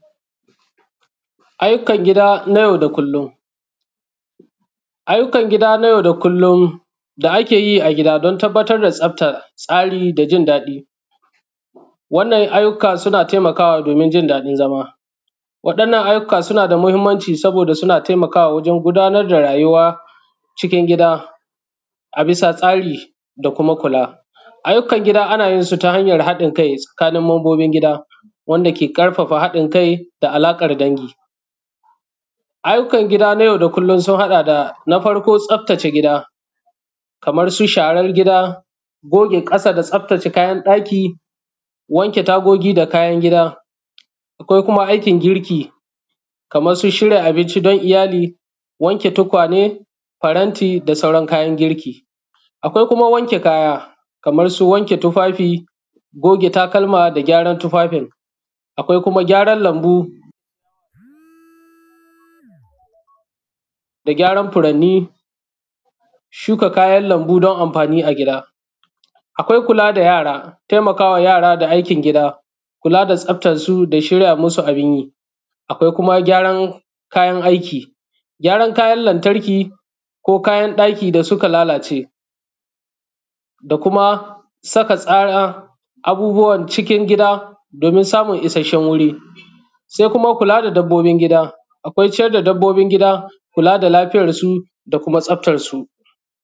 Ayyukan gida na yau da kullum, ayyukan gida na yau da kullum da ake yi a gida don tabattar da tsafta, tsari da jin daɗi. Wannan ayyukan suna taimakawa domin jin daɗin zama. Waɗannan ayyuka suna da matuƙar mahimmanci saboda suna taimakawa wajen gudanar da rayuwa cikin gida a bisa tsari, da kuma kula. Ayyukan gida ana yin su ta hanyan haɗin kai tsakanin mambobin gida, wanda ke ƙarfafa haɗin kai da alaƙar dangi. Ayyukan gida na yau da kullum sun haɗa da: Na farko, tsaftace gida, kamar su share gida, goge ƙasa da tsaftace kayan ɗaki, wanke tagogi da kayan gida. Ko kuma aikin girki, kamar su shirya abinci don iyali, wanke tukwane, faranti da sauran kayan girki. Akwai kuma wanke kaya, kamar su wanke tufafi, goge takalma, da ƙyaran tufafin. Akwai kuma gyaran lambu da gyaran furanni, shuka kayan lambu don amfani a gida. Akwai kula da yara, taimakawa yara da aikin gida, kula da tsaftansu, da shirya su abin yi. Akwai kuma gyaran kayan aiki, gyaran kayan lantariki ko kayan ɗaki da suka lalace, da kuma saka tsara abubbuwa cikin gida domin samun isasshen wuri. Sai kuma kula da dabbobin gida, akwai ciyar da dabbobin gida, kula da lafiyarsu, da kuma tsaftarsu.